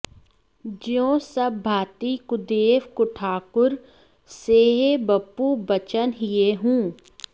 ज्यों सब भाँती कुदेव कुठाकुर सेये बपु बचन हिये हूँ